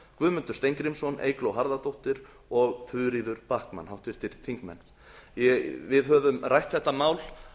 guðmundur steingrímsson eygló harðardóttir og þuríður backman við höfum rætt þetta mál